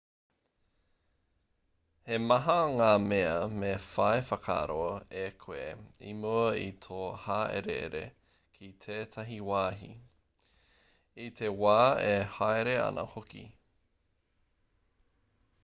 he maha ngā mea me whai whakaaro e koe i mua i tō hāereere ki tētahi wāhi i te wā e haere ana hoki